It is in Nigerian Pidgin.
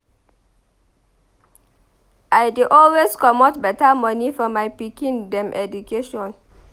I dey always comot beta moni for my pikin dem education.